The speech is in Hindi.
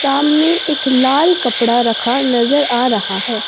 सामने एक लाल कपड़ा रखा नजर आ रहा है।